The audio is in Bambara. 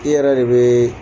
I yɛrɛ de bɛ